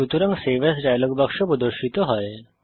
সুতরাং save as dialog বাক্স প্রদর্শিত হয়